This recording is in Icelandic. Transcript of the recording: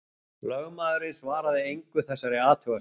Lögmaðurinn svaraði engu þessari athugasemd.